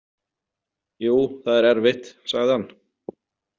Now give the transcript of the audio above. Jú, það er erfitt, sagði hann.